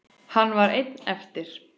Hann var einn eftir.